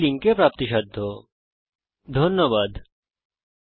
আমি কৌশিক দত্ত এই টিউটোরিয়াল টি অনুবাদ করেছি এতে অংশগ্রহন করার জন্য ধন্যবাদ